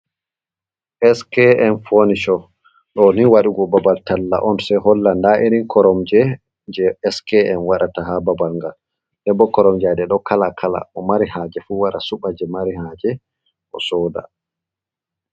Skm foni sho doni wadugo babal talla on jei hollanta irin koromje je skm wadata ha babalgal, denbo koromjaje do kala kala o marihaje fu wara suba je mari haje o soda.